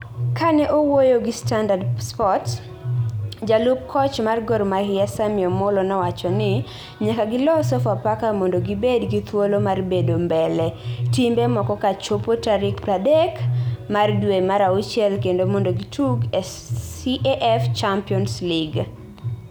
Kane owuoyo gi Standard Sports, jalup koch mar Gor Mahia Sammy Omollo nowacho ni nyaka gilo Sofapaka mondo gibed gi thuolo mar bedo mbele timbe moko kochopo tarik pradek mar dwe mar auchiel kendo mondo gitug e Caf Champions League.